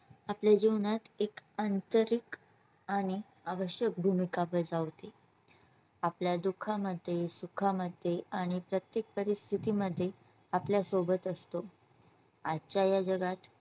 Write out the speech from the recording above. आपल्या जीवनात एक आंतरिक आणि आवश्यक भूमिका बजावते. आपल्या दुःखामध्ये, सुखामध्ये आणि प्रत्येक परिस्थिती मध्ये आपल्या सोबत असत आजच्या या जगात